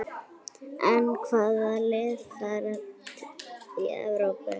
Hvaða lið fara í Evrópu?